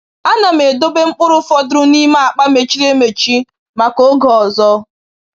A na m edobe mkpụrụ fọdụrụ n’ime akpa mechiri emechi maka oge ọzọ.